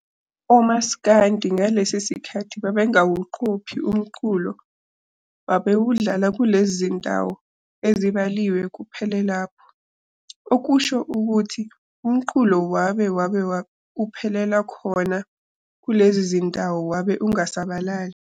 OMaskandi ngalesi sikathi babengawuqophi umculo wabe babewudlala kulezi zindawo ezibaliwe kuphele lapho, okusho ukuthi umculo wabe wabe uphelela khona kulezi zindawo wabe ungasabalali.